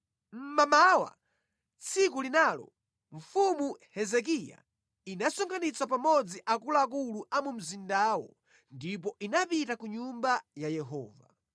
Mmamawa tsiku linalo, mfumu Hezekiya inasonkhanitsa pamodzi akuluakulu a mu mzindawo ndipo inapita ku Nyumba ya Yehova.